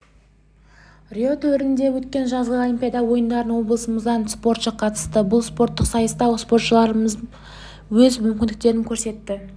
рио төрінде өткен жазғы олимпиада ойындарына облысымыздан спортшы қатысты бұл спорттық сайыста спортшыларымыз өз мүмкіндіктерін көрсетті